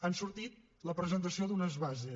ha sortit la presentació d’unes bases